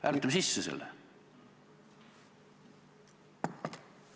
Hääletame selle sisse!